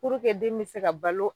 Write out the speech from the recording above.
Pureke den be se ka balo